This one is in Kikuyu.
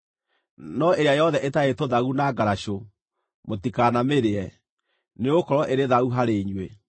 No ĩrĩa yothe ĩtarĩ tũthagu na ngaracũ, mũtikanamĩrĩe; nĩgũkorwo ĩrĩ thaahu harĩ inyuĩ.